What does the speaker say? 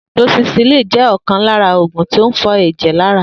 Doxycycline jẹ́ ọ̀kan lara oògùn tí ń fọ ẹ̀jẹ̀ lára